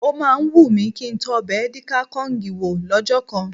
Ó máa ń wù mi kí ń tọ ọbẹ̀ edi kai Kong wò lọ́jọ́ kan